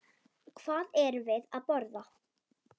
Hvað erum við að borða?